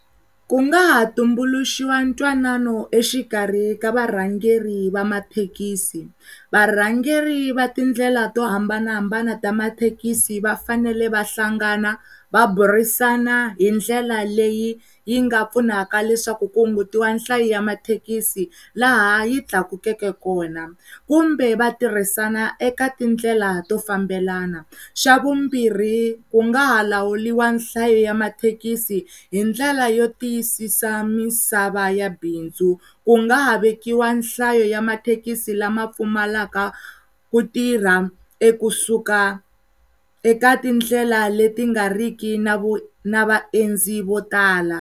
Ku nga ha tumbuluxiwa ntwanano exikarhi ka varhangeri va mathekisi. Varhangeri va tindlela to hambanahambana ta mathekisi va fanele va hlangana va burisana hi ndlela leyi yi nga pfunaka leswaku kumbe hungutiwa hlayo ya mathekisi laha yi tlakukeke kona kumbe va tirhisana eka tindlela to fambelana xa vumbirhi ku nga ha lawuriwa nhlayo ya mathekisi hi ndlela yo tiyisisa misava ya bindzu ku nga ha vekiwa nhlayo ya mathekisi lama pfumalaka ku tirha e kusuka eka tindlela leti nga riki na vaendzi vo tala.